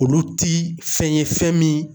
Olu ti fɛn ye, fɛn min